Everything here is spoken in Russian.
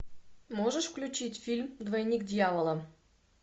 можешь включить фильм двойник дьявола